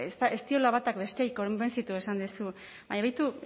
ba ez diola batak besteari konbentzitu esan duzu baina begiratu